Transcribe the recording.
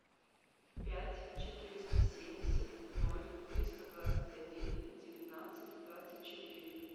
пять четыреста семьдесят ноль триста двадцать один девятнадцать двадцать четыре